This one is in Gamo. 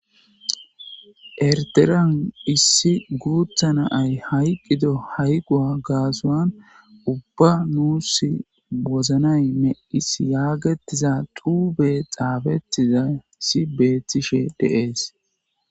Eritrean issi guththa Nayi hayqqido hayqqo gassuwan ubbay nus wozanay meqqis yaagetiza xuufey xuffetish betis.